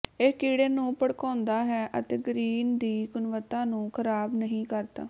ਇਹ ਕੀੜੇ ਨੂੰ ਭੜਕਾਉਂਦਾ ਹੈ ਅਤੇ ਗਰੀਨ ਦੀ ਗੁਣਵੱਤਾ ਨੂੰ ਖਰਾਬ ਨਹੀਂ ਕਰਦਾ